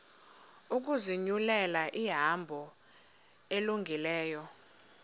ukuzinyulela ihambo elungileyo